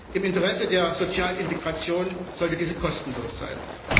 Im Interesse der sozialen Integration sollte diese kostenlos sein.